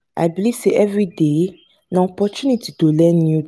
i believe sey everyday na opportunity to learn new.